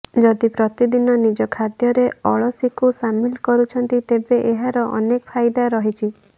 ଯଦି ପ୍ରତିଦିନ ନିଜ ଖାଦ୍ୟରେ ଅଳସୀକୁ ସାମିଲ କରୁଛନ୍ତି ତେବେ ଏହାର ଅନେକ ଫାଇଦା ରହିଛି